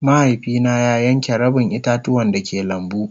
Mahaifi na ya yanke rabin ita-tuwan da ke lambu.